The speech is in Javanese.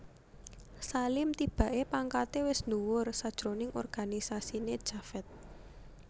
Salim tibaké pangkaté wis dhuwur sajroning organisasiné Javed